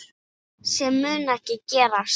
Sem mun ekki gerast.